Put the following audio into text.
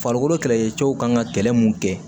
Farikolo kɛlɛkɛcɛw kan ka kɛlɛ mun kɛ